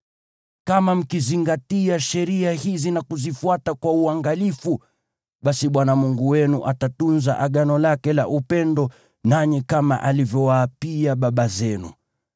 Kama mkizingatia sheria hizi na kuzifuata kwa uangalifu, basi Bwana Mungu wenu atatunza Agano lake la upendo nanyi, kama alivyowaapia baba zenu.